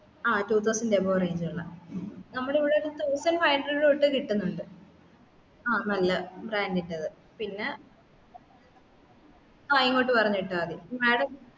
ആ two thousand above range ഉള്ള നമ്മളിവിടെ thousand five hundred തൊട്ട് കിട്ടുന്നുണ്ട് ആ നല്ല brand ന്റേത് പിന്നെ ആ ഇങ്ങോട്ട് പറഞ്ഞ് വിട്ടാമതി madam